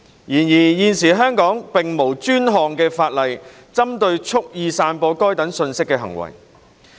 然而，現時香港並無專項法例針對蓄意散播該等信息的行為。